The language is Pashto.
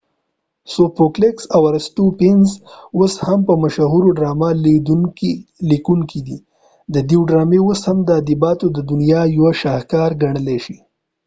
سو فوکلس او ارستوفینز اوس هم مشهور ډرامه لیکونکی دی ددوی ډرامی اوس هم ادبیاتو ددنیا یوه شاهکار ګڼلی شی